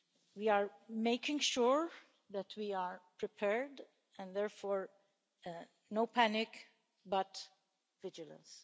We are making sure that we are prepared, and therefore no panic, but vigilance.